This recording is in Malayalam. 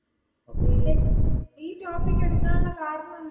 *നോട്ട്‌ ക്ലിയർ* ഈ ടോപ്പിക്ക് എടുക്കാനുള്ള കാരണെന്താ.